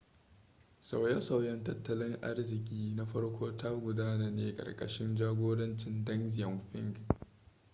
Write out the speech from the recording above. sauye-sauyen tattalin arziki na farko ta gudana ne a ƙarƙashin jagorancin deng xiaoping